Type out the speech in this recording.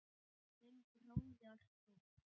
Þinn bróðir Þór.